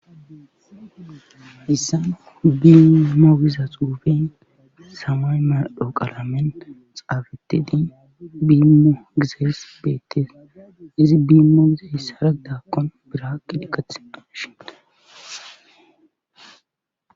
dissa biiimmo biza xuuben samay maadho qalamen xaabeti di biimmo gizeess beettes izi biimmo izehessaragdakkon biraakqi dikathendon shine